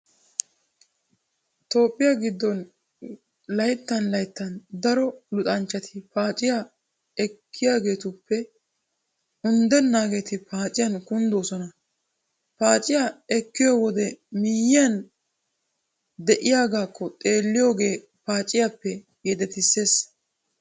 Toophphiyaa giddon layttan layttan daro luxanchchati paaciyaa ekkiyaageetuppe undennaageeti paaciyan kunddoosona. Paaciyaa ekkiyo wode miyyiyan ba de'iyaagaakko xeelliyoogee paaciyaappe yedetissees.